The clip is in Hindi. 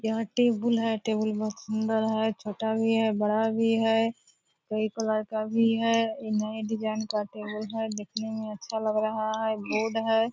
यह टेबल है टेबल बहोत सुन्दर है छोटा भी है बड़ा भी है कई कलर का भी है नए डिज़ाइन का टेबल है दिखने में अच्छा लग रहा है रोड है।